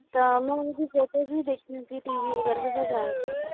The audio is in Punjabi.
ਤਾਂ ਮੈਂ ਇਹਨਾਂ ਦੀ ਵੀ ਦੇਖੀਆਂ ਸੀ TV ਵਗ਼ੈਰਾ ਤੇ ਸਭ ਆਇਆ ਸੀ